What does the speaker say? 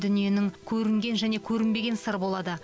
дүниенің көрінген және көрінбеген сыры болады